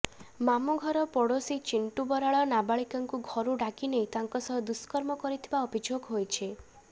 ମାମୁ ଘର ପୋଡଶୀ ଚିଣ୍ଟୁ ବରାଳ ନାବାଳିକାଙ୍କୁ ଘରୁ ଡାକିନେଇ ତାଙ୍କ ସହ ଦୁଷ୍କର୍ମ କରିଥିବା ଅଭିଯୋଗ ହୋଇଛି